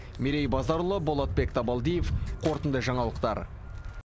мерей базарұлы болатбек табалдиев қорытынды жаңалықтар